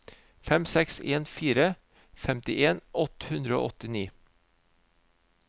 fem seks en fire femtien åtte hundre og åttini